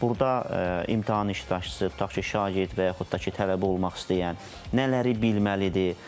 Burda imtahan iştirakçısı tutaq ki, şagird və yaxud da ki, tələbə olmaq istəyən nələri bilməlidir?